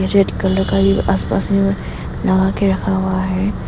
Red colour का ये आस पास मे लगा के रखा हुआ है।